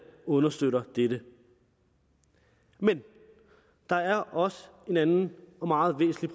understøtter dette men der er også en anden og meget væsentlig